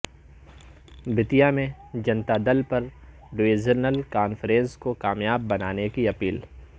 بتیا میں Janata Dal U divisional conference کو کامیاب بنانے کی اپیل